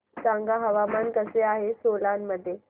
सांगा हवामान कसे आहे सोलान मध्ये